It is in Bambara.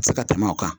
Se ka tɛmɛ o kan